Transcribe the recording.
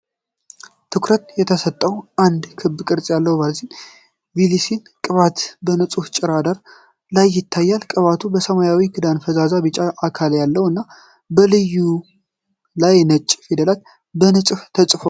ትኩረት የተሰጠው አንድ ክብ ቅርጽ ያለው ቫዝሊን ብሉሲል ቅባት በንጹህ ነጭ ዳራ ላይ ይታያል። ቅባቱ ሰማያዊ ክዳንና ፈዛዛ ቢጫ አካል ያለው እና፣ በላዩ ላይ ነጭ ፊደላት በንጽህና ተጽፈዋል።